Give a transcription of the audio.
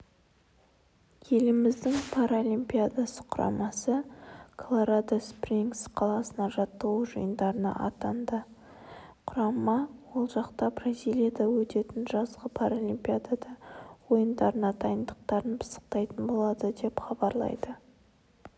еліміздің паралимпиада құрамасы колорадо-спрингс қаласына жаттығу жиындарына аттанды құрама ол жақта бразилияда өтетін жазғы паралимпиада ойындарынадайындықтарын пысықтайтын болады деп хабарлайды